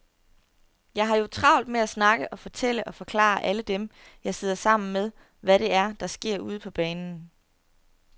Jeg har jo travlt med at snakke og fortælle og forklare alle dem, jeg sidder sammen med, hvad det er, der sker ude på banen.